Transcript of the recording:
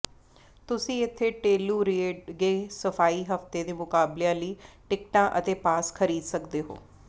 ਤੁਸੀਂ ਇੱਥੇ Telluride gay ski ਹਫ਼ਤੇ ਦੇ ਮੁਕਾਬਲਿਆਂ ਲਈ ਟਿਕਟਾਂ ਅਤੇ ਪਾਸ ਖਰੀਦ ਸਕਦੇ ਹੋ